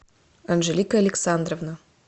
анжелика александровна